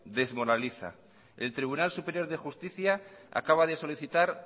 desmoraliza el tribunal superior de justicia acaba de solicitar